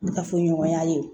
Ne ka fɔɲɔgɔnya ye